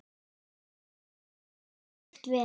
Hún gerði allt slíkt vel.